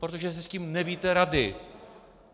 Protože si s tím nevíte rady.